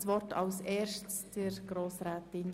Reduktion Projekt Ausbildungsqualität (Massnahme 44.2.4)